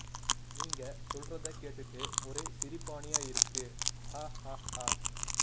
நீங்க சொல்றத கேட்டுட்டு ஒரே சிரிபானிய இருக்கு ஹ ஹா ஹா